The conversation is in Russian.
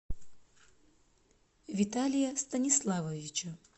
виталия станиславовича